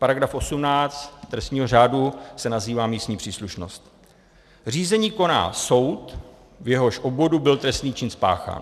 Paragraf 18 trestního řádu se nazývá místní příslušnost: Řízení koná soud, v jehož obvodu byl trestný čin spáchán.